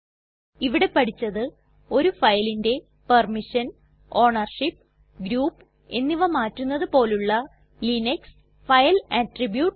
ഇവിടെ പഠിച്ചത് ഒരു ഫയലിന്റെ പെർമിഷൻ ഓണർഷിപ്പ് ഗ്രൂപ്പ് എന്നിവ മാറ്റുന്നത് പോലുള്ള ലിനക്സ് ഫൈൽ അട്രിബ്യൂട്ട്സ്